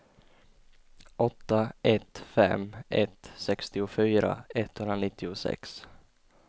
åtta ett fem ett sextiofyra etthundranittiosex